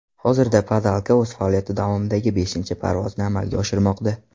Hozirda Padalka o‘z faoliyati davomidagi beshinchi parvozni amalga oshirmoqda.